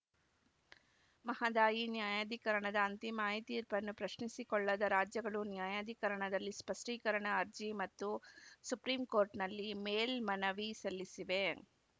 ಮಹದಾಯಿ ನ್ಯಾಯಾಧಿಕರಣದ ಅಂತಿಮ ಐ ತೀರ್ಪನ್ನು ಪ್ರಶ್ನಿಸಿ ಕೊಳ್ಳದ ರಾಜ್ಯಗಳು ನ್ಯಾಯಾಧಿಕರಣದಲ್ಲಿ ಸ್ಪಷ್ಟೀಕರಣ ಅರ್ಜಿ ಮತ್ತು ಸುಪ್ರೀಂ ಕೋರ್ಟ್‌ನಲ್ಲಿ ಮೇಲ್ಮನವಿ ಸಲ್ಲಿಸಿವೆ